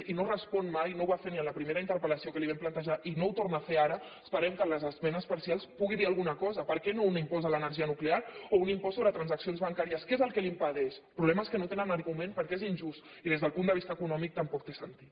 i no respon mai no ho va fer en la primera interpel·lació que li vam plantejar i no ho torna a fer ara esperem que en les esmenes parcials pugui dir alguna cosa per què no un impost de l’energia nuclear o un impost sobre transaccions bancàries què és el que li ho impedeix el problema és que no tenen arguments perquè és injust i des del punt de vista econòmic tampoc té sentit